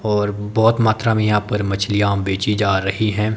और बहोत मात्रा में यहां पर मछलियां बेची जा रही है।